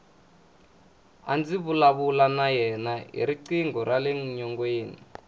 a ndzi vulavula na yena hi riqingho rale nyongeni